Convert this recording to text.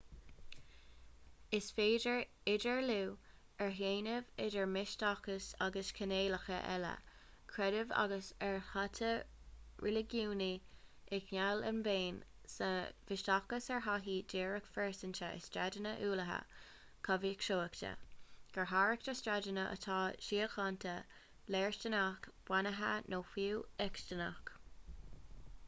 is féidir idirdhealú a dhéanamh idir misteachas agus cineálacha eile creidimh agus adhartha reiligiúnaí i ngeall ar an mbéim sa mhisteachas ar thaithí dhíreach phearsanta ar staideanna uathúla comhfhiosachta go háirithe staideanna atá síochánta léirsteanach beannaithe nó fiú eacstaiseach